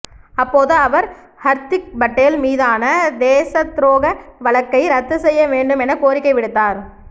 அப்போது அவர் ஹர்திக் பட்டேல் மீதான தேசத்துரோக வழக்கை ரத்து செய்ய வேண்டும் என கோரிக்கை விடுத்தார்